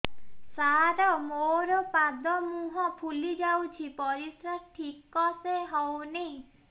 ସାର ମୋରୋ ପାଦ ମୁହଁ ଫୁଲିଯାଉଛି ପରିଶ୍ରା ଠିକ ସେ ହଉନି